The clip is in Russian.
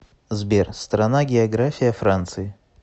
сбер страна география франции